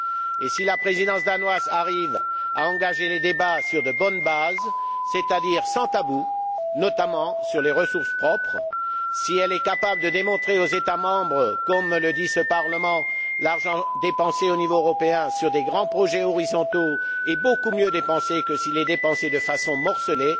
Et si la Présidence danoise arrive à engager les débats sur de bonnes bases, c'est à dire sans tabou, notamment sur les ressources propres, si elle capable de démontrer aux États membres, comme le dit ce Parlement, que l'argent dépensé au niveau européen sur des grands projets horizontaux est beaucoup mieux dépensé que s'il est dépensé de façon morcelée,